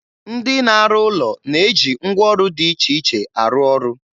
Ndị na-arụ ụlọ na-eji ngwaọrụ dị iche iche arụ ọrụ.